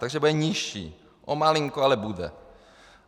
Takže bude nižší, o malinko, ale bude.